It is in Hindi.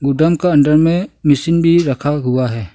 ड्रम का अंदर में मशीन भी रखा हुआ है।